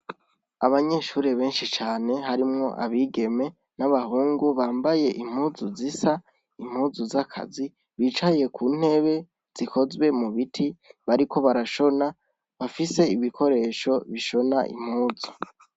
Abanyeshure benshi cane harimwo abagime n' abahungu bambaye mpuzu zisa n'impuzu z'akazi bicaye ku ntebe, zikozwe mu biti bariko barashona bafise ibikoresho bishona impuzu .